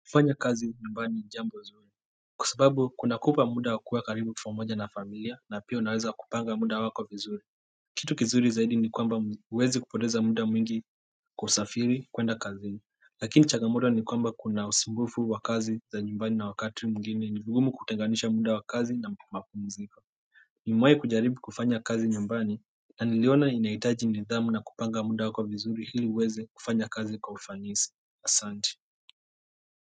Kufanya kazi nyumbani ni jambo zuri kwa sababu kunakupa muda wa kuwa karibu na familia na pia unaweza kupanga muda wako vizuri. Kitu kizuri zaidi ni kwamba huwezi poteza muda mwingi kusafiri kwenda kazini. Lakini changamoto ni kwamba kuna usumbufu wa kazi za nyumbani na wakati mwingine ni vigumu kutenganisha muda wa kazi na mapumziko. Nimewahi kujaribu kufanya kazi nyumbani na niliona inahitaji nidhamu na kupanga muda wako vizuri ili uweze kufanya kazi kwa ufanisi. Asante.